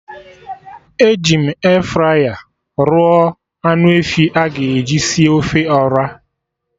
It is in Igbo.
Eji m Efraya rụọ anụ efi a ga-eji sie ofe Ọra